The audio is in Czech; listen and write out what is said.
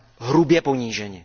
hrubě poníženi.